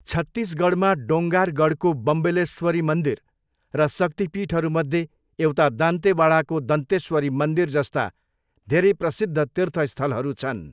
छत्तिसगढमा डोङ्गारगढको बम्बलेश्वरी मन्दिर र शक्तिपीठहरूमध्ये एउटा दन्तेवाडाको दन्तेश्वरी मन्दिर जस्ता धेरै प्रसिद्ध तीर्थस्थलहरू छन्।